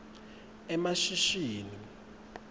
emashishini